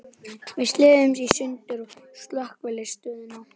Við slitnuðum í sundur við Slökkvistöðina.